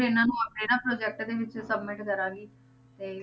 ਇਹਨਾਂ ਨੂੰ ਆਪਣੇ ਨਾ project ਦੇ ਵਿੱਚ submit ਕਰਾਂਗੀ ਤੇ